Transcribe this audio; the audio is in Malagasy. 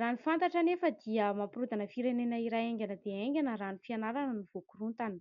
Raha ny fantatra anefa dia mampirodana firenena iray aingana dia aingana raha ny fianarana no voakorontana.